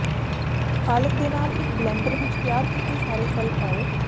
ਪਾਲਕ ਦੇ ਨਾਲ ਇੱਕ ਬਲੈਨਡਰ ਵਿੱਚ ਤਿਆਰ ਕੀਤੇ ਸਾਰੇ ਫ਼ਲ ਪਾਓ